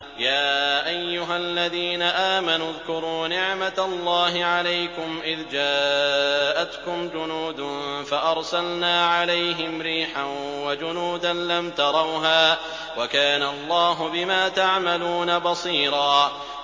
يَا أَيُّهَا الَّذِينَ آمَنُوا اذْكُرُوا نِعْمَةَ اللَّهِ عَلَيْكُمْ إِذْ جَاءَتْكُمْ جُنُودٌ فَأَرْسَلْنَا عَلَيْهِمْ رِيحًا وَجُنُودًا لَّمْ تَرَوْهَا ۚ وَكَانَ اللَّهُ بِمَا تَعْمَلُونَ بَصِيرًا